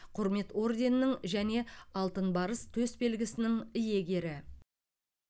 құрмет орденінің және алтын барыс төсбелгісінің иегері